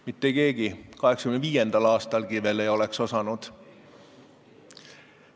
Mitte keegi, ka 1985. aastal ei oleks osanud.